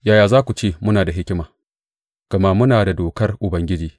Yaya za ku ce, Muna da hikima, gama muna da dokar Ubangiji,